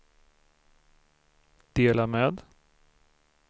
dela med